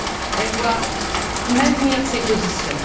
Elle doit maintenir ses positions.